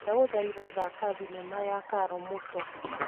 Ndagũthaitha thaka thinema ya Karo Mũto.